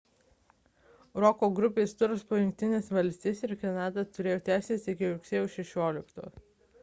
roko grupės turas po jungtines valstijas ir kanadą turėjo tęstis iki rugsėjo 16 d